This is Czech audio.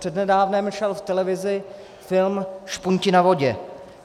Přednedávnem šel v televizi film Špunti na vodě.